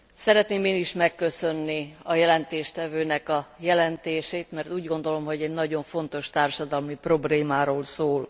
Szeretném én is megköszönni a jelentést tevőnek a jelentését, mert úgy gondolom, hogy egy nagyon fontos társadalmi problémáról szól.